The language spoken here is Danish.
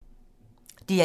DR1